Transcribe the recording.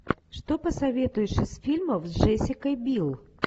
что посоветуешь из фильмов с джессикой бил